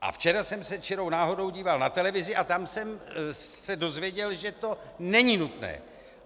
A včera jsem se čirou náhodou díval na televizi a tam jsem se dozvěděl, že to není nutné!